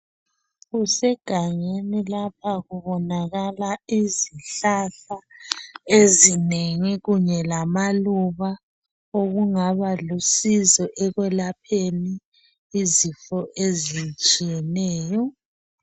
Kusegangeni lapha kubonakala izihlahla ezinengi kunye lamaluba okungaba lusizo ekwelapheni izifo ezitshiyeneyo.